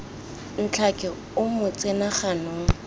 ntlhake o mo tsena ganong